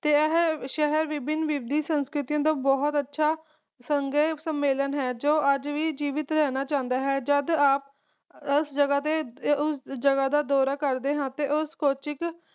ਤੇ ਇਹ ਸ਼ਹਿਰ ਵਿਭਿਨ ਵਿਭਿਨ ਸੰਸਕ੍ਰਿਤੀਆਂ ਦਾ ਬਹੁਤ ਅੱਛਾ ਸੰਘ ਸਮਮੇਲਾਂ ਹੈ ਜੋ ਅਜੇ ਵੀ ਜੀਵਿਤ ਰਹਿਣਾ ਚਾਹੁੰਦਾ ਹੈ ਜਦੋ ਅਸੀਂ ਉਸ ਜੱਗ ਦਾ ਦੌਰਾ ਕਰਦੇ ਹਾਂ ਤਾ ਕੋਚੀਨ